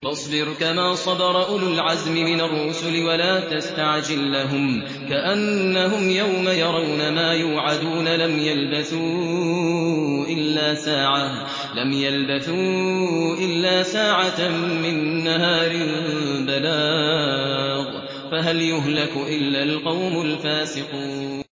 فَاصْبِرْ كَمَا صَبَرَ أُولُو الْعَزْمِ مِنَ الرُّسُلِ وَلَا تَسْتَعْجِل لَّهُمْ ۚ كَأَنَّهُمْ يَوْمَ يَرَوْنَ مَا يُوعَدُونَ لَمْ يَلْبَثُوا إِلَّا سَاعَةً مِّن نَّهَارٍ ۚ بَلَاغٌ ۚ فَهَلْ يُهْلَكُ إِلَّا الْقَوْمُ الْفَاسِقُونَ